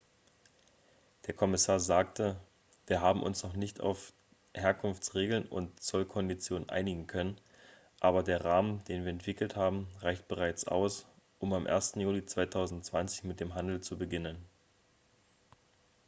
der kommissar sagte wir haben uns noch nicht auf herkunftsregeln und zollkonditionen einigen können aber der rahmen den wir entwickelt haben reicht bereits aus um am 1. juli 2020 mit dem handel zu beginnen